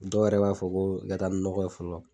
Dɔw yɛrɛ b'a fɔ ko i ka taa ni nɔgɔ ye fɔlɔ.